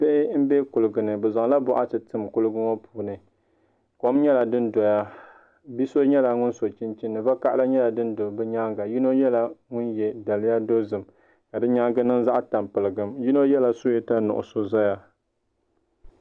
Bihi n bɛ kulugi ni bi zaŋla boɣati tin kuligi ŋo puuni kom nyɛla din doya bia nyɛla ŋun so chinchin vakaɣala nyɛla din do bi nyaanga yino nyɛla ŋun yɛ daliya dozim ka di nyaangi niŋ zaɣ tampilim yino yɛla suyeeta nuɣso zaa